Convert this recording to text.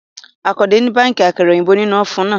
Àkàndé ń béèkì àkàrà òyìnbó nínú ófùnù